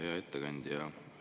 Hea ettekandja!